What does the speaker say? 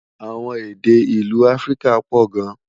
àwọn èdè ìlú áfríkà pò gán